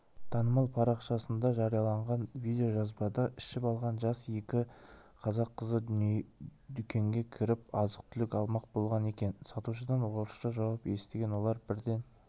танымал парақшасында жарияланған видеожазбада ішіп алған жас екі қазақ қызы дүкенге кіріп азық-түлік алмақ болған екен сатушыдан орысша жауап естіген олар бірден